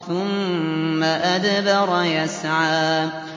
ثُمَّ أَدْبَرَ يَسْعَىٰ